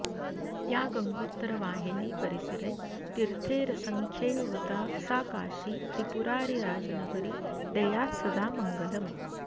या गङ्गोत्तरवाहिनी परिसरे तीर्थेरसङ्ख्यैर्वृता सा काशी त्रिपुरारिराजनगरी देयात्सदा मङ्गलम्